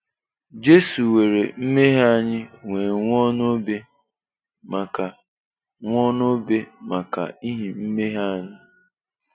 Jesu weere mmehie anyị wee nwụọ n'obe maka nwụọ n'obe maka ihi mmehie anyị